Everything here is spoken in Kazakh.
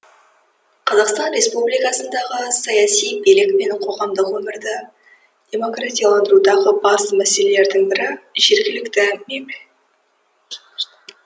қазақстан республикасындағы саяси билік пен қоғамдық өмірді демократияландырудағы басты мәселелердің бірі жергілікті мемл